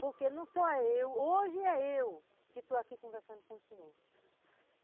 Porque não sou só eu, hoje é eu que estou aqui conversando com o senhor.